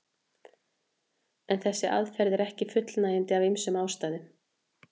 En þessi aðferð er ekki fullnægjandi af ýmsum ástæðum.